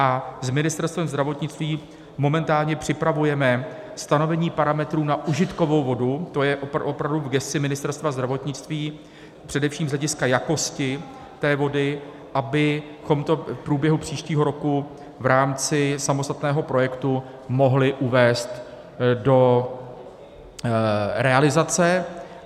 A s Ministerstvem zdravotnictví momentálně připravujeme stanovení parametrů na užitkovou vodu, to je opravdu v gesci Ministerstva zdravotnictví, především z hlediska jakosti té vody, abychom to v průběhu příštího roku v rámci samostatného projektu mohli uvést do realizace.